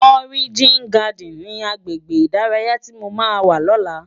Òrijín Gàdín ni àgbégbé idàráyá ti mó má wá lòlá?